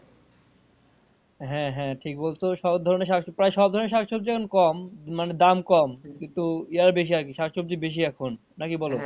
হ্যাঁ হ্যাঁ ঠিক বলছ সব ধরনের শাকসবজি প্রায় সব ধরনের শাকসবজি এখন কম মানে দাম কম কিন্তু ইয়ে বেশি আরকি শাকসবজি বেশি এখন নাকি বলো?